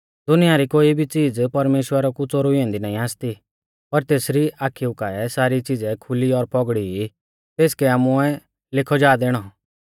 दुनिया री कोई भी च़ीज़ परमेश्‍वरा कु च़ोरुई ऐन्दी नाईं आसती पर तेसरी आखिऊ काऐ सारी च़िज़ै खुली और पौगड़ी ई तेसकै आमुऐ लेखौ जा दैणौ